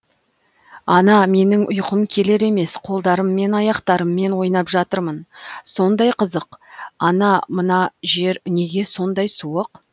ана менің ұйқым келер емес қолдарым мен аяқтарммен ойнап жатырмын сондай қызық ана мына жер неге сондай суық